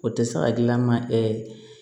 O tɛ se hakilina ma